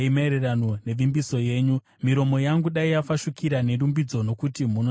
Miromo yangu dai yafashukira nerumbidzo, nokuti munondidzidzisa mitemo yenyu.